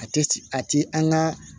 A tɛ a ti an ka